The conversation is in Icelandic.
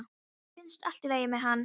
Mér finnst allt í lagi með hann.